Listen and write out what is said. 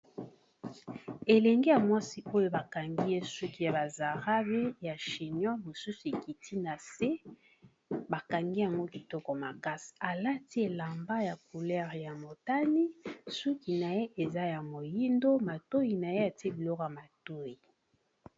Elenge ya mwasi oyo bakangi ye suki ya ba zarabi ya chinion mosusu ekiti na se bakangi yango kitoko makasi alati elamba ya couleur ya motani suki na ye eza ya moyindo matoyi na ye atie biloko ya matoyi.